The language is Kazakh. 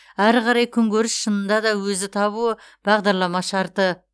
ары қарай күнкөріс шынында да өзі табуы бағдарлама шарты